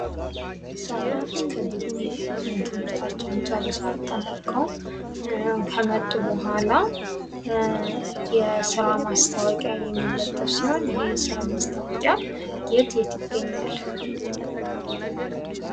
ሰዎች ከግቢ ትምህርታቸውን ጨርሰው አጠናቀቀው ከመጡ በኋላ የስራ ማስታወቂያ የሚለጠፍ ሲሆን ይህ የስራ ማስታወቂያ የት የት ይገኛል?